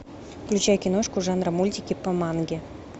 включай киношку жанра мультики по манге